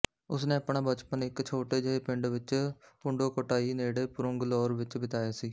ਉਸ ਨੇ ਆਪਣਾ ਬਚਪਨ ਇੱਕ ਛੋਟੇ ਜਿਹੇ ਪਿੰਡ ਵਿੱਚ ਪੁੰਡੋਕੋਟਾਈ ਨੇੜੇ ਪੁਰੂੰਗਲੌਰ ਵਿੱਚ ਬਿਤਾਇਆ ਸੀ